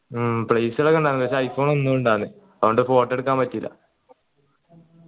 ഉം place കളൊക്കെ ഇണ്ടെയ്ന് പക്ഷെ i phone ഒന്നു അതോണ്ട് photo എടുക്കാൻ പറ്റീല